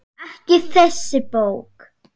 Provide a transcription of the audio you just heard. Ekki þessi bók.